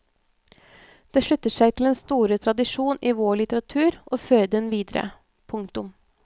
Det slutter seg til den store tradisjon i vår litteratur og fører den videre. punktum